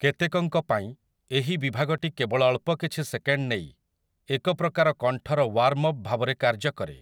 କେତେକଙ୍କ ପାଇଁ, ଏହି ବିଭାଗଟି କେବଳ ଅଳ୍ପକିଛି ସେକେଣ୍ଡ୍ ନେଇ ଏକ ପ୍ରକାର କଣ୍ଠର ୱାର୍ମ୍ ଅପ୍ ଭାବରେ କାର୍ଯ୍ୟ କରେ ।